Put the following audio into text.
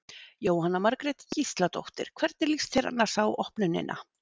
Jóhanna Margrét Gísladóttir: Hvernig líst þér annars á opnunina?